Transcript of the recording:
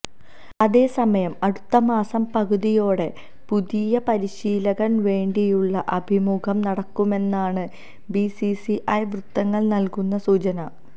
അതേ സമയം അടുത്ത മാസം പകുതിയോടെ പുതിയ പരിശീലകന് വേണ്ടിയുള്ള അഭിമുഖം നടക്കുമെന്നാണ് ബിസിസിഐ വൃത്തങ്ങൾ നൽകുന്ന സൂചന